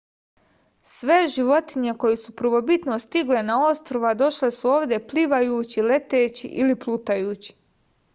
sve životinje koje su prvobitno stigle na ostrva došle su ovde plivajući leteći ili plutajući